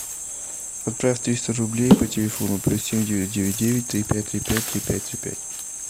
отправь триста рублей по телефону плюс семь девять девять девять три пять три пять три пять три пять